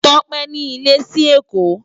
Tope ni ilè si Ekó